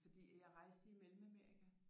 Fordi at jeg rejste i Mellemamerika